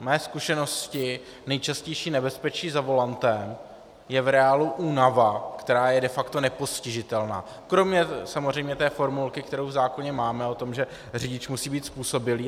Z mé zkušenosti nejčastější nebezpečí za volantem je v reálu únava, která je de facto nepostižitelná, kromě samozřejmě té formulky, kterou v zákoně máme, o tom, že řidič musí být způsobilý.